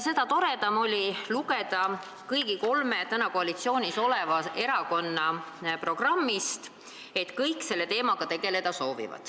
Seda toredam oli lugeda kõigi kolme täna koalitsioonis oleva erakonna programmist, et kõik soovivad selle teemaga tegeleda.